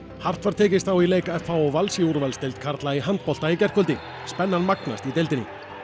hart var tekist á í leik f h og Vals í úrvalsdeild karla í handbolta í gærkvöldi spennan magnast í deildinni